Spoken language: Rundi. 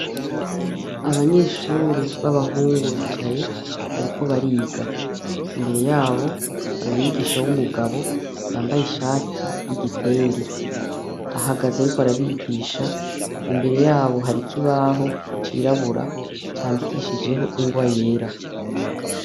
Abanyeshure b'abahungu bicaye, bariko bariga; imbere yabo hari umwigisha w'umugabo, yambaye ishati y'igitenge; ahagaze ariko arabigisha, imbere yabo hari ikibaho cirabura, candikishijeko ingwa yera.